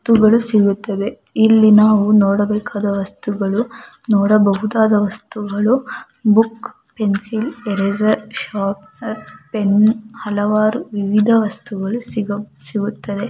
ವಸ್ತುಗಳು ಸಿಗುತ್ತವೆ ಇಲ್ಲಿ ನಾವು ನೋಡಬೇಕಾದ ವಸ್ತುಗಳು ನೋಡಬಹುದಾದ ವಸ್ತುಗಳು book pencil eraser sharpener pen ಹಲವಾರು ವಿವಿಧ ವಸ್ತುಗಳು ಸಿಗೌ-ಸಿಗುತ್ತದೆ --